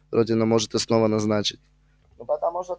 родина может и снова назначить